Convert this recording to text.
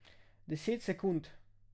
Deset sekund!